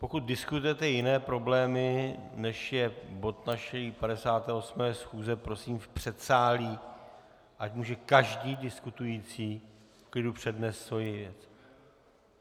Pokud diskutujete jiné problémy, než je bod naší 58. schůze, prosím v předsálí, ať může každý diskutující v klidu přednést svoji věc.